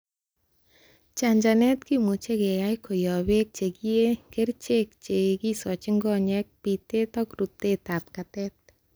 Chanchanet kimuche keyai koyob beek che kiyee, kerichek che kisochin konyek, bitet ak rutet ab katet.